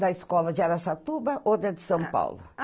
Na escola de Araçatuba ou da de São Paulo?